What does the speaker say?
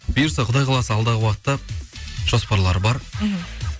бұйырса құдай қаласа алдағы уақытта жоспарлар бар мхм